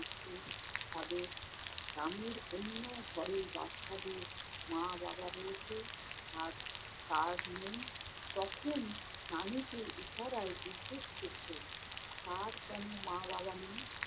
তাদের গ্রামের অন্য ঘরের বাচ্চাদের মা-বাবা রয়েছে। আর তার নেই। তখন নানীকে ইশারায় জিজ্ঞেস করতো, তার কেনো মা-বাবা নেই?